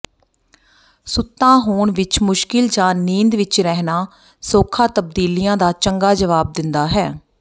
ਸੁੱਤਾ ਹੋਣ ਵਿਚ ਮੁਸ਼ਕਿਲ ਜਾਂ ਨੀਂਦ ਵਿਚ ਰਹਿਣਾ ਸੌਖਾ ਤਬਦੀਲੀਆਂ ਦਾ ਚੰਗਾ ਜਵਾਬ ਦਿੰਦਾ ਹੈ